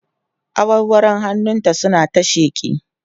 awarwaron hannun ta suna ta sheƙi